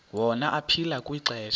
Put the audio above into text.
wona aphila kwixesha